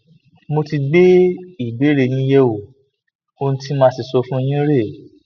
mo ti gbé ìbéèrè yín yẹwò ohun tí màá sì sọ fún yín rèé